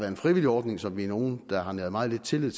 en frivillig ordning som vi er nogle der har næret meget lidt tillid